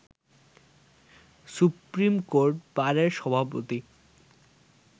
supreme court বারের সভাপতি